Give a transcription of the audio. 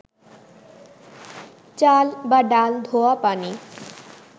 চাল বা ডাল ধোয়া পানি